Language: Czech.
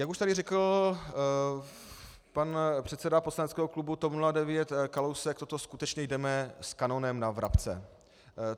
Jak už tady řekl pan předseda poslaneckého klubu TOP 09 Kalousek, to skutečně jdeme s kanonem na vrabce.